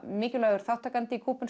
mikilvægur þátttakandi í